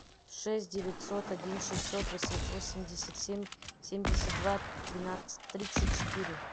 шесть девятьсот один шестьсот восемьдесят семь семьдесят два тринадцать тридцать четыре